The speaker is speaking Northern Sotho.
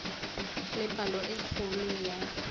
le palo e kgolo ya